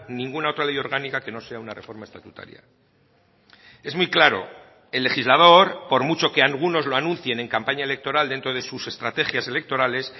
ninguna otra ley orgánica que no sea una reforma estatutaria es muy claro el legislador por mucho que algunos lo anuncien en campaña electoral dentro de sus estrategias electorales